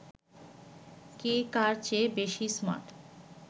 কে কার চেয়ে বেশি স্মার্ট